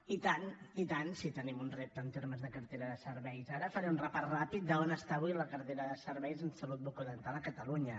i tant i tant si tenim un repte en termes de cartera de serveis ara faré un repàs ràpid d’on està avui la cartera de serveis en salut bucodental a catalunya